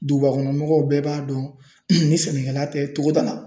Dugubakɔnɔmɔgɔw bɛɛ b'a dɔn ni sɛnɛkɛla tɛ togo da la.